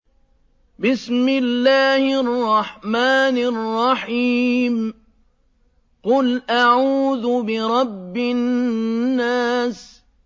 قُلْ أَعُوذُ بِرَبِّ النَّاسِ